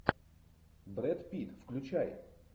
брэд питт включай